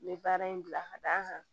N bɛ baara in bila ka d'a kan